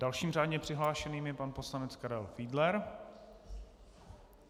Dalším řádně přihlášeným je pan poslanec Karel Fiedler.